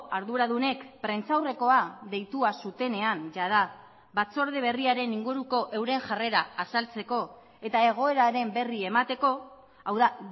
arduradunek prentsaurrekoa deitua zutenean jada batzorde berriaren inguruko euren jarrera azaltzeko eta egoeraren berri emateko hau da